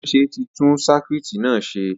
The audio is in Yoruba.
Atúnáṣe tí tún sakuiiti na ṣe